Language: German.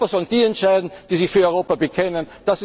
In Europa sollen die entscheiden, die sich zu Europa bekennen!